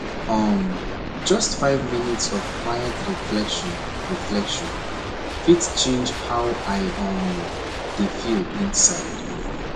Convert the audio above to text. um just five minutes of quiet reflection reflection fit change how i um dey feel inside